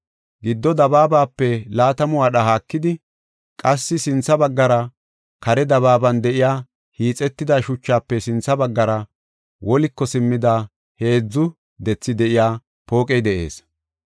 Gido dabaabape laatamu wadha haakidi, qassi sintha baggara kare dabaaban de7iya hiixetida shuchafe sintha baggara woliko simmida heedzu dethi de7iya pooqey de7ees.